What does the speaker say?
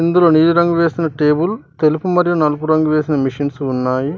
ఇందులో నీలి రంగు వేసిన టేబుల్ తెలుపు మరియు నలుపు రంగు వేసిన మిషన్స్ ఉన్నాయి.